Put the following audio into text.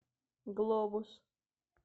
глобус